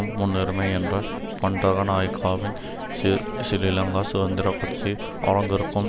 முன்னுரிமை என்ற பண்டரநாயக்கவின் ஸ்ரீலங்கா சுதந்திர கட்சி அரங்கிற்கும்